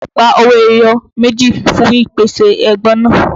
Gba owó ẹyọ méjì fún ìpèsè ẹbọ náà!